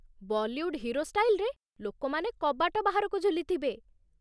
Bollywood hero ଷ୍ଟାଇଲ୍‌ରେ ଲୋକମାନେ କବାଟ ବାହାରକୁ ଝୁଲିଥିବେ ।